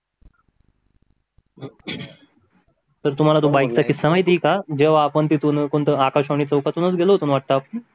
तुम्हाला तो माईक चा किस्सा माहित आहे का जो आपण तिथून टो आकाशवाणी चौकतून गेलो होतो आपण अच्छाअच्छा